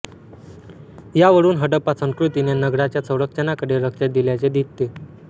यावरून हडप्पा संस्कृतीने नगराच्या संरक्षणाकडे लक्ष दिल्याचे दिसते